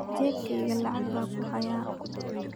jeebkayga lacag baan ku hayaa